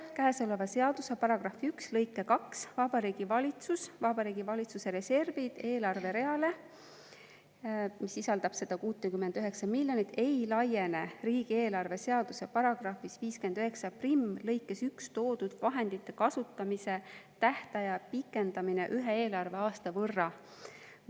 Käesoleva seaduse paragrahvi 1 lõike 2 Vabariigi Valitsus Vabariigi Valitsuse reservid eelarve reale ei laiene riigieelarve seaduse paragrahvis 591 lõikes 1 toodud vahendite kasutamise tähtaja pikendamine ühe eelarveaasta võrra.